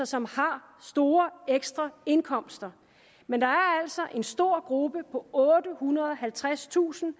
som har store ekstraindkomster men der er altså en stor gruppe på ottehundrede og halvtredstusind